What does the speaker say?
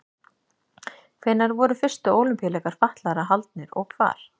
Hvenær voru fyrstu Ólympíuleikar fatlaðra haldnir og hvar?